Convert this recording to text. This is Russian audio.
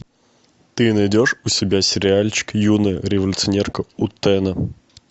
ты найдешь у себя сериальчик юная революционерка утэна